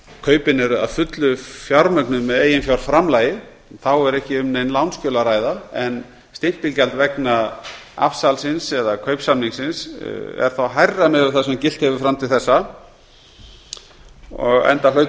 kaupin eru að fullu fjármögnuð með eiginfjárframlagi þá er ekki um nein lánsskjöl að ræða en stimpilgjald vegna afsalsins eða kaupsamningsins er þá hærra miðað við það sem gilt hefur fram til þessa enda hlaut það